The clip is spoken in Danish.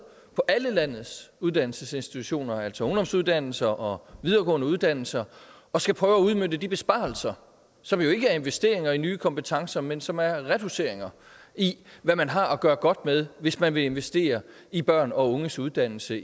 på alle landets uddannelsesinstitutioner altså ungdomsuddannelser og videregående uddannelser og skal prøve at udmønte de besparelser som jo ikke er investeringer i nye kompetencer men som er reduceringer i hvad man har at gøre godt med hvis man vil investere i børn og unges uddannelse